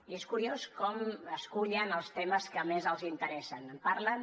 i és curiós com escullen els temes que més els interessen